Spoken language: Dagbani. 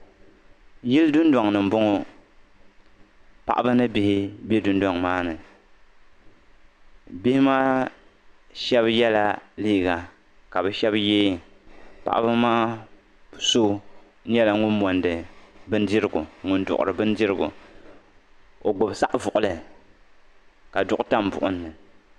yili dondoŋni n boŋɔ paɣ' ba ni bihi bɛ dondoŋ maa ni bihi maa shɛb yɛla liga ka be shɛb yɛ paɣ' be maa su ŋɔ monidi bindirigu n duɣiri bɛndirigu o gbabi saɣivuɣili ka zuɣigu tam buɣimni